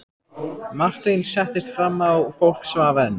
Marteinn settist fram á, fólk svaf enn.